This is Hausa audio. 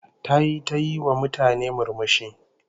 Tayi ta yiwa mutane murmushi